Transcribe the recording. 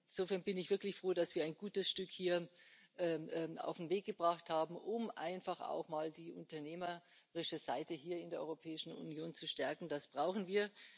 Insofern bin ich wirklich froh, dass wir ein gutes Stück auf den Weg gebracht haben, um einfach auch mal die unternehmerische Seite hier in der Europäischen Union zu stärken. Das brauchen wir!